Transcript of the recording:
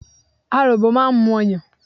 Aròbò máa ń mu ọyàn.